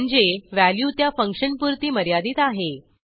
म्हणजे व्हॅल्यू त्या फंक्शनपुरती मर्यादित आहे